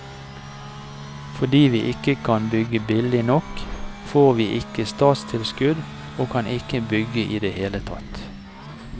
Fordi vi ikke kan bygge billig nok, får vi ikke statstilskudd og kan ikke bygge i det hele tatt.